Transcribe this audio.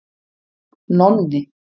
Nonni